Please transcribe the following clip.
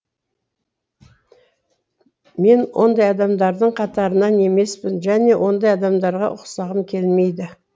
мен ондай адамдардың қатарыннан емеспін және ондай адамдарға ұқсағым келмейді